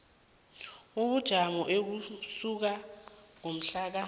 ubujamo ukusuka ngomhlaka